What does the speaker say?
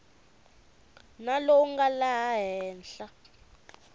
na lowu nga laha henhla